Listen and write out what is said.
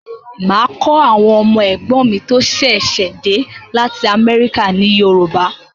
Máa kọ́ àwọn ọmọ ẹ̀gbọ́n mi tí ó ṣẹ̀ṣẹ̀ de lati america ní Yoruba